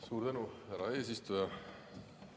Suur tänu, härra eesistuja!